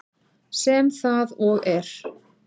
Sem það og er.